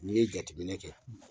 N'i ye jateminɛ kɛ